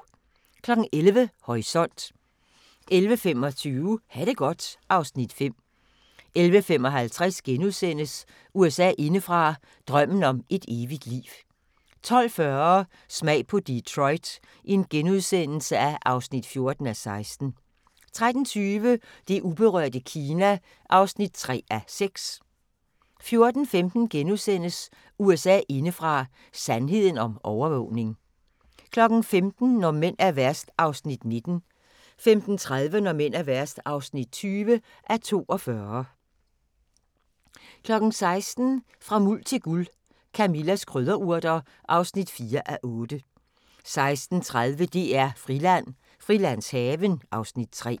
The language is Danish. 11:00: Horisont 11:25: Ha' det godt (Afs. 5) 11:55: USA indefra: Drømmen om et evigt liv * 12:40: Smag på Detroit (14:16)* 13:20: Det uberørte Kina (3:6) 14:15: USA indefra: Sandheden om overvågning * 15:00: Når mænd er værst (19:42) 15:30: Når mænd er værst (20:42) 16:00: Fra Muld til Guld – Camillas krydderurter (4:8) 16:30: DR-Friland: Frilandshaven (Afs. 3)